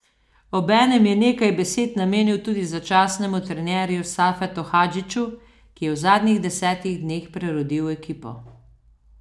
Obenem je nekaj besed namenil tudi začasnemu trenerju Safetu Hadžiću, ki je v zadnjih desetih dneh prerodil ekipo.